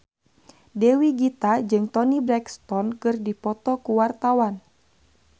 Dewi Gita jeung Toni Brexton keur dipoto ku wartawan